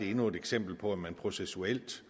endnu et eksempel på at man processuelt